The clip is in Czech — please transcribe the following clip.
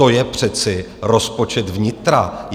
To je přece rozpočet vnitra!